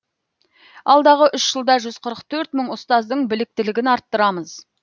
алдағы үш жылда жүз қырық төрт мың ұстаздың біліктілігін арттырамыз